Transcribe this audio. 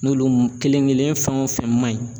N'olu kelen kelen fɛn o fɛn ma ɲi.